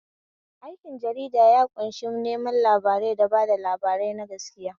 Aikin jarida ya ƙunshi neman labarai da bada labarai na gaskiya.